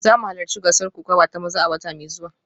Za mu halarci gasar kokawa ta maza a wata mai zuwa